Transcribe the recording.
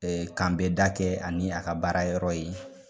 k'anbɛ da kɛ ani a ka baara yɔrɔ ye.